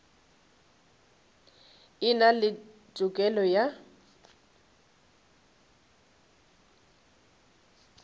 e na le tokelo ya